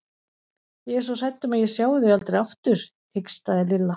Ég er svo hrædd um að ég sjái þau aldrei aftur hikstaði Lilla.